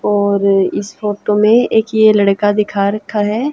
और इस फोटो मे एक ये लड़का दिखा रखा है।